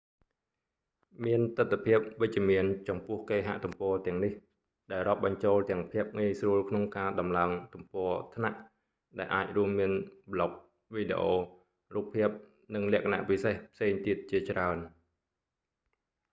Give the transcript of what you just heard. មានទិដ្ឋភាពវិជ្ជមានចំពោះគេហទំព័រទាំងនេះ ដែលរាប់បញ្ចូលទាំងភាពងាយស្រួលក្នុងការតម្កើងទំព័រថ្នាក់ដែលអាចរួមមាន ប្លុក វីដេអូ រូបភាព នឹងលក្ខណៈពិសេសផ្សេងទៀតជាច្រើន